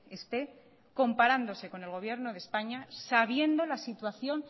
esté comparándose con el gobierno de españa sabiendo la situación